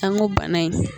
An ko bana in